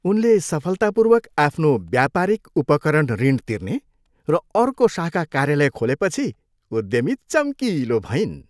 उनले सफलतापूर्वक आफ्नो व्यापारिक उपकरण ऋण तिर्ने र अर्को शाखा कार्यालय खोलेपछि उद्यमी चम्किलो भइन्।